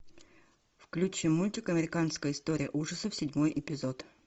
включи мультик американская история ужасов седьмой эпизод